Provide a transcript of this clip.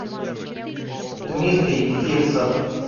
дмитрий фирсов